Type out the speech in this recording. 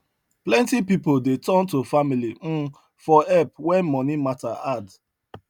plenty pipo dey turn to family um for help when money matter hard